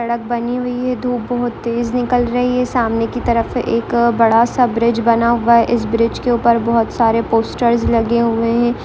सड़क बनी हुई है। धूप बहुत तेज़ निकल रही है। सामने की तरफ से एक अ बड़ा सा ब्रिज बना हुआ है। इस ब्रिज के ऊपर बोहोत सारे पोस्टर लगे हुए है।